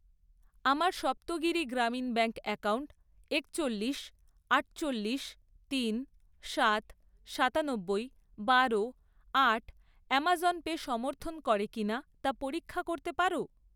আমার Saptagiri Grameen bank account একচল্লিশ, আটচল্লিশ, তিন, সাত, সাতানব্বই, বারো, আট আমাজন পে সমর্থন করে কিনা তা পরীক্ষা করতে পারো?